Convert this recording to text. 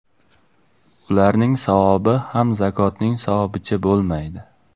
Ularning savobi ham zakotning savobicha bo‘lmaydi.